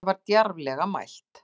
Þetta var djarflega mælt.